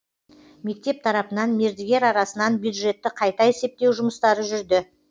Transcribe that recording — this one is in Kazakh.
мектеп тарапынан мердігер арасынан бюджетті қайта есептеу жұмыстары жүрді